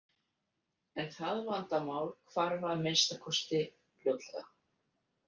En það vandamál hvarf að minnsta kosti fljótlega.